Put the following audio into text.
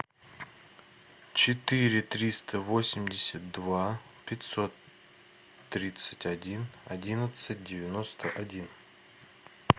четыре триста восемьдесят два пятьсот тридцать один одиннадцать девяносто один